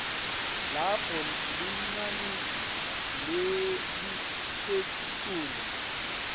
lapho linani lelisetulu